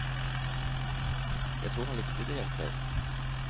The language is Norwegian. Jeg tror han likte det jeg skrev.